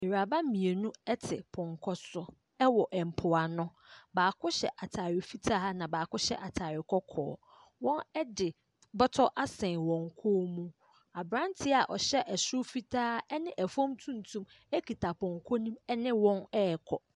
Nwuraba mmienu te pɔnkɔ so wɔ mpoano. Baako hyɛ atare fitaa na baako hyɛ atare kɔkɔɔ. Wɔde bɔtɔ asɛn wɔn kɔn mu. Aberanteɛ a ɔhyɛ soro fitaa ne fam tuntum kita pɔnkɔ no mu ne wɔn rekɔ.